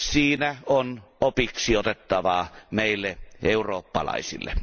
Siinä on opiksi otettavaa meille eurooppalaisille.